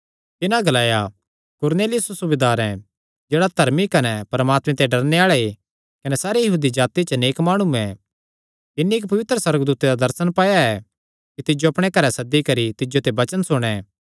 तिन्हां ग्लाया कुरनेलियुस सूबेदार जेह्ड़ा धर्मी कने परमात्मे ते डरणे आल़े कने सारी यहूदी जाति च नेक माणु ऐ तिन्नी इक्क पवित्र सुअर्गदूते दा दर्शन पाया ऐ कि तिज्जो अपणे घरैं सद्दी करी तिज्जो ते वचन सुणे